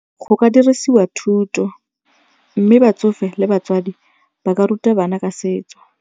Go ka dirisiwa thuto mme batsofe le batswadi ba ka ruta bana ka setso.